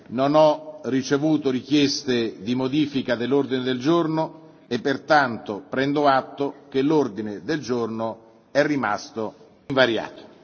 Non ho ricevuto richieste di modifica dell'ordine del giorno e pertanto prendo atto che l'ordine del giorno è rimasto invariato.